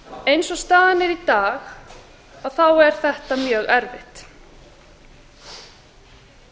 eins og staðan er í dag þá er þetta mjög erfitt og